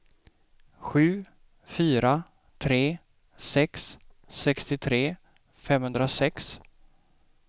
sju fyra tre sex sextiotre femhundrasex